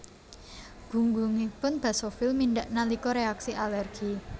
Gunggungipun basofil mindhak nalika reaksi alergi